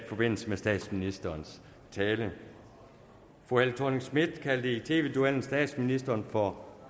forbindelse med statsministerens tale fru helle thorning schmidt kaldte i tv duellen statsministeren for